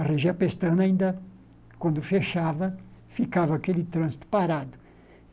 A região pestana ainda, quando fechava, ficava aquele trânsito parado.